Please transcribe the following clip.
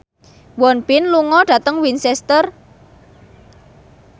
Won Bin lunga dhateng Winchester